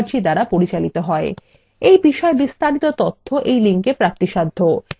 এই বিষয়ে বিস্তারিত তথ্য এই link প্রাপ্তিসাধ্য